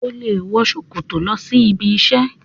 O le wọ ṣòkòtò lọ sí ibi isẹ.